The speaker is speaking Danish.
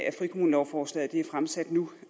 at frikommunelovforslaget er fremsat nu